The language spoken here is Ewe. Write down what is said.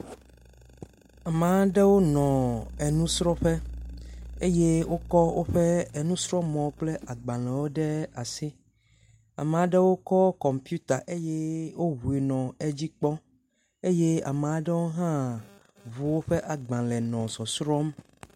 Ame aɖewo nɔ enusrɔ̃ƒe eye wokɔ woƒe enusrɔ̃mɔ kple agbalẽwo ɖe asi, ame aɖewo kɔ kɔmpita eye wuŋui nɔ edzi kpɔm eye ame aɖewo hã ŋu woƒe agbalẽ nɔ sɔsrɔ̃m.